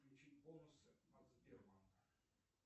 включи бонусы от сбербанка